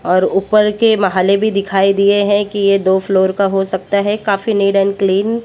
और ऊपर के माहले भी दिखाई दिए हैं कि ये दो फ्लोर का हो सकता है काफी नीट एंड क्लीन --